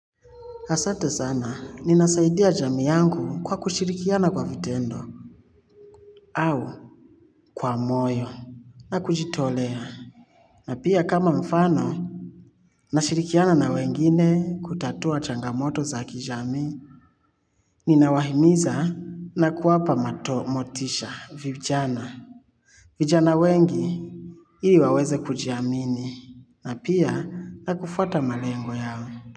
Asante sana ninasaidia jamii yangu kwa kushirikiana kwa vitendo. Au kwa moyo na kujitolea na pia kama mfano nashirikiana na wengine kutatua changamoto za kijamii. Ninawahimiza na kuwapa motisha vijana. Vijana wengi ili waweze kujiamini na pia na kufuata malengo yao.